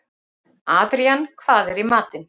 Adrían, hvað er í matinn?